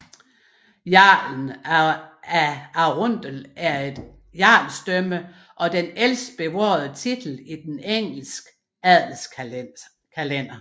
Jarlen af Arundel er et jarlsdømme og den ældste bevarede titel i den Engelske adelskalender